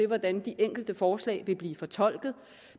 hvordan de enkelte forslag vil blive fortolket